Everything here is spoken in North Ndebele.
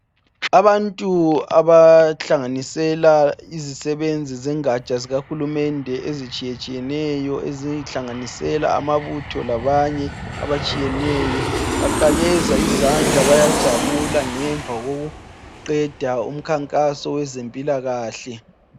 Abantu abahlanginisela izisebenzi zengatsha zika hulumende ezitshiyetshiyeneyo ezihlanganisela amabutho labanye abatshiyeneyo baqakeza izandla bayajabula ngemva kokuqeda umkhankaso wezempilahle